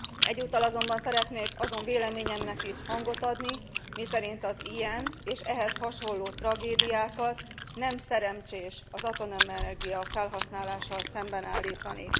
Egyúttal azonban szeretnék azon véleményemnek is hangot adni, miszerint az ilyen és ehhez hasonló tragédiákat nem szerencsés az atomenergia felhasználással szembeállítani.